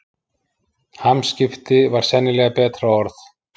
Hamskipti var sennilega betra orð.